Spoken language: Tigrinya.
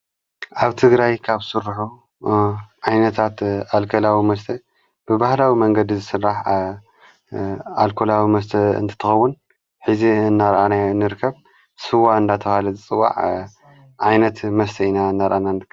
ኣብ ትግራይ ካብ ዝስርሑ ዓይነታት ኣልኮላዊ መስተ ብባህላዊ መንገዲ ዘሥራሕ ኣልኮላዊ መስተ እንትኸዉን ኂዚ እናርአናዮ ንርከብ ሥዋ እንዳተብሃለ ዝጽዋዕ ዓይነት መስተ ኢና እናርአና ንርከብ።